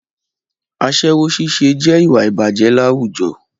Aṣẹ́wó ṣíṣe jẹ́ ìwà ìbàjẹ́ láwùjọ